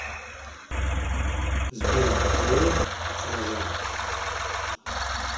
сбер диор раза